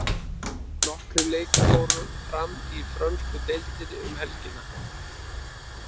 Nokkrir leikir fóru fram í frönsku deildinni um helgina.